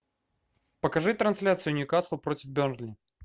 покажи трансляцию ньюкасл против бернли